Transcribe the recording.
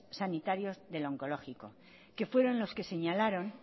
sanitarios del oncológico que fueron los que señalaron